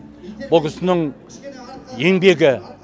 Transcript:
бұл кісінің еңбегі